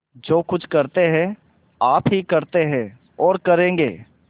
जो कुछ करते हैं आप ही करते हैं और करेंगे